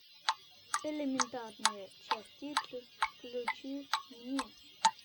элементарные частицы включи мне